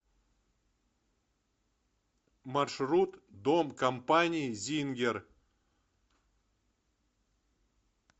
маршрут дом компании зингер